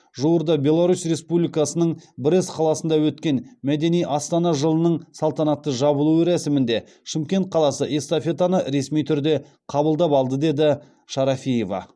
жуырда беларус республикасының брест қаласында өткен мәдени астана жылының салтанатты жабылу рәсімінде шымкент қаласы эстафетаны ресми түрде қабылдап алды деді шарафиева